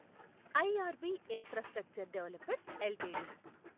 IRB infrastructure developers LTD